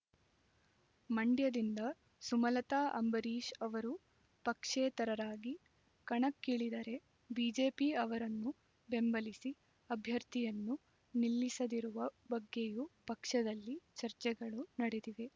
ಮಂಡ್ಯದಿಂದ ಸುಮಲತಾ ಅಂಬರೀಶ್ ಅವರು ಪಕ್ಷೇತರರಾಗಿ ಕಣಕ್ಕಿಳಿದರೆ ಬಿಜೆಪಿ ಅವರನ್ನು ಬೆಂಬಲಿಸಿ ಅಭ್ಯರ್ಥಿಯನ್ನು ನಿಲ್ಲಿಸದಿರುವ ಬಗ್ಗೆಯೂ ಪಕ್ಷದಲ್ಲಿ ಚರ್ಚೆಗಳು ನಡೆದಿವೆ